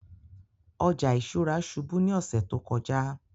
Ọjà ìṣúra ṣùbù ni ọsẹ̀ tó kọ̀jà